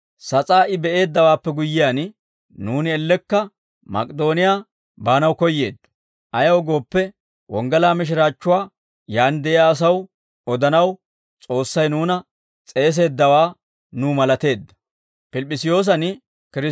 Sas'aa I be'eeddawaappe guyyiyaan, nuuni ellekka Mak'idooniyaa baanaw koyyeeddo; ayaw gooppe, wonggalaa mishiraachchuwaa yaan de'iyaa asaw odanaw, S'oossay nuuna s'eeseeddawaa nuw malateedda.